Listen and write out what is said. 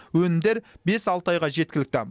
өнімдер бес алты айға жеткілікті